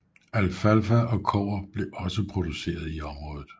Alfalfa og kobber blev også produceret i området